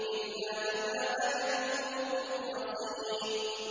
إِلَّا عِبَادَكَ مِنْهُمُ الْمُخْلَصِينَ